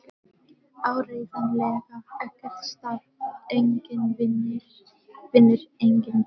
Áreiðanlega ekkert starf, enginn vinur, enginn guð.